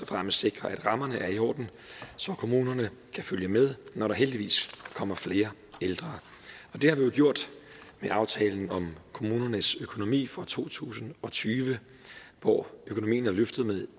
fremmest sikrer at rammerne er i orden så kommunerne kan følge med når der heldigvis kommer flere ældre og det har vi jo gjort med aftalen om kommunernes økonomi for to tusind og tyve hvor økonomien er løftet med